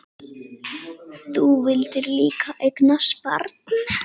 Þú vildir líka eignast barn.